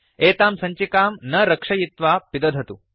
एतां सञ्चिकां न रक्षयित्वा पिदधतु